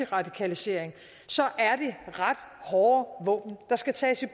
radikalisering er det ret hårde våben der skal tages i